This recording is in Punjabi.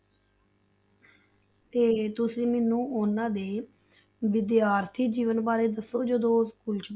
ਤੇ ਤੁਸੀਂ ਮੈਨੂੰ ਉਹਨਾਂ ਦੇ ਵਿਦਿਆਰਥੀ ਜੀਵਨ ਬਾਰੇ ਦੱਸੋ ਜਦੋਂ ਉਹ school 'ਚ,